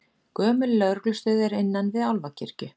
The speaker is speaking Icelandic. Gömul lögreglustöð er innan við Álfakirkju